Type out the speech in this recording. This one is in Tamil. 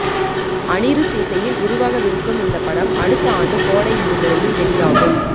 அனிருத் இசையில் உருவாகவிருக்கும் இந்த படம் அடுத்த ஆண்டு கோடை விடுமுறையில் வெளியாகும்